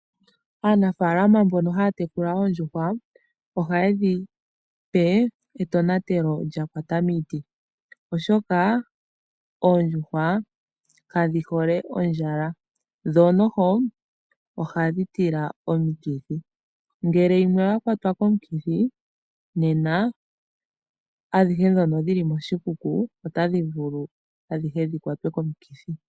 Aanafalama mbono haya tekula oondjuhwa ohaye dhi pe etonatelo lya kwata miiti. Oshoka oondjuhwa kadhi hole ondjala, dho noho ohadhi tila omikithi. Ngele yimwe oya kwata komukithi nena adhihe dhono dhili moshikuku otadhi vulu adhihe dhi kwate komukithi.